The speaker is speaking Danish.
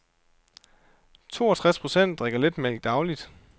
Toogtres procent drikker letmælk dagligt.